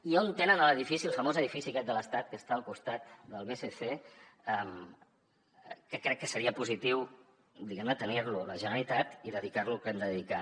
i on tenen l’edifici el famós edifici aquest de l’estat que està al costat del bsc que crec que seria positiu diguem ne tenir lo la generalitat i dedicar lo al que l’hem de dedicar